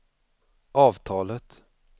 avtalet